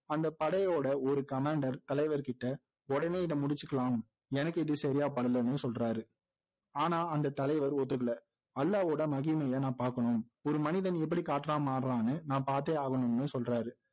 அந்த படையோட ஒரு commander தலைவர்கிட்ட உடனே இதை முடிச்சுக்கலாம் எனக்கு இது சரியா படலன்னு சொல்றாரு ஆனா அந்த தலைவர் ஒத்துக்கல அல்லாவோட மகிமையை நான் பாக்கணும் ஒரு மனிதன் எப்படி காற்றா மாறுறான்னு நான் பாத்தே ஆகணும்னு சொல்றாரு